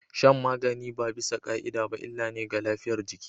Shan magani ba bisa ka'ida ba illa ne ga lafiyar jiki